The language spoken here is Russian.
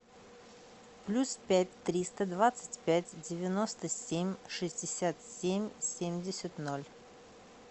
плюс пять триста двадцать пять девяносто семь шестьдесят семь семьдесят ноль